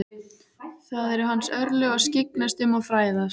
Það eru hans örlög að skyggnast um og fræðast.